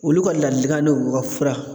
Olu ka ladilikan n'olu ka fura